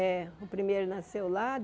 É, o primeiro nasceu lá.